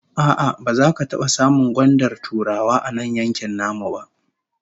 A'a, baza ka taba samun gwandar Turawa a nan yankin namu ba